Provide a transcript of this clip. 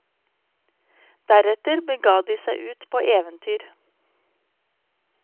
Deretter bega de seg ut på eventyr.